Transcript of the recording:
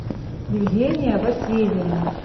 евгения васильевна